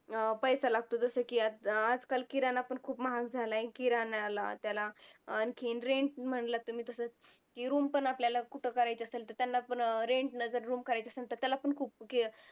अं पैसा लागतो जसं की आता आजकाल किराणा पण खूप महाग झालाय किराण्याला, त्याला आणखीन rent म्हंटला तुम्ही तसं की room पण आपल्याला कुठं करायची असेल तर त्यांना पण rent नं जर room करायची असेल तर त्याला पण खूप